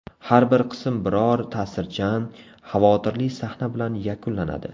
Har bir qism biror ta’sirchan, xavotirli sahna bilan yakunlanadi.